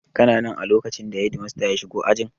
Kana nan a lokacin da shedimasta ya shigo ajin?